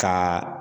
Ka